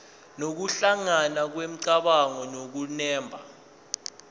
nokuhlangana kwemicabango nokunemba